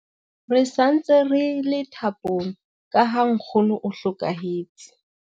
Re sa ntse re thapong ka ha nkgono o hlokahetse.